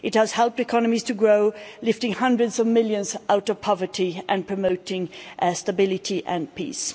It has helped economies to grow, lifting hundreds of millions out of poverty and promoting stability and peace.